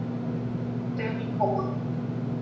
semíkomma